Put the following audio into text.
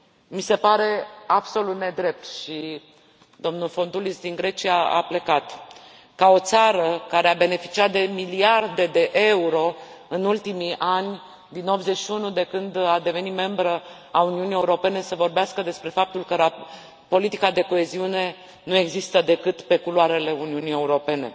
Mi se pare absolut nedrept, și domnul Fontoulis din Grecia a plecat, ca o țară care a beneficiat de miliarde de euro în ultimii ani, din 1981, de când a devenit membră a Uniunii Europene, să vorbească despre faptul că politica de coeziune nu există decât pe culoarele Uniunii Europene.